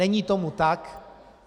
Není tomu tak.